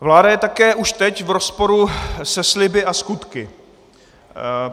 Vláda je také už teď v rozporu se sliby a skutky.